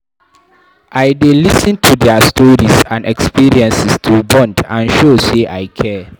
I dey lis ten to dia stories and experiences to bond and show sey I care.